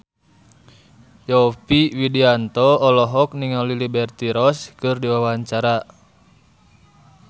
Yovie Widianto olohok ningali Liberty Ross keur diwawancara